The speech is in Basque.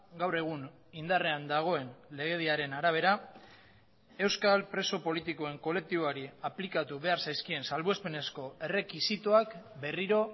gaur egun indarrean dagoen legediaren arabera euskal preso politikoen kolektiboari aplikatu behar zaizkien salbuespenezko errekisitoak berriro